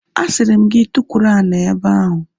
A sịrị m gị tukwuru ani n'ebe ahu!